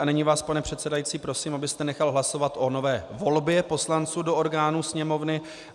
A nyní vás, pane předsedající, prosím, abyste nechal hlasovat o nové volbě poslanců do orgánů Sněmovny.